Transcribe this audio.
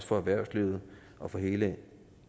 for erhvervsliv og for hele